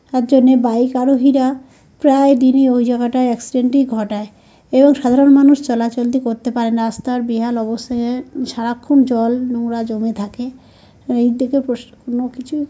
তার জন্য বাইক আরোহীরা প্রায় দিন ই ওই জায়গাটায় এক্সিডেন্ট -ই ঘটায় এবং সাধারণ মানুষ চলাচলতি করতে পারেনা। রাস্তার বেহাল অবস্থায় এ সারাক্ষণ জল নোংরা জমে থাকে। এই দিকে প্রশ্ন কোন কিছু --